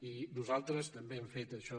i nosaltres també hem fet això